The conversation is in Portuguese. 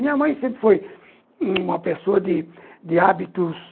Minha mãe sempre foi uma pessoa de de hábitos...